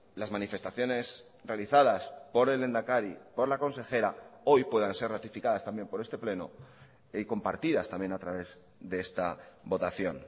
las manifestaciones realizadas por el lehendakari por la consejera hoy puedan ser ratificadas también por este pleno y compartidas también a través de esta votación